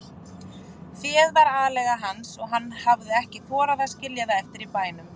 Féð var aleiga hans og hann hafði ekki þorað að skilja það eftir í bænum.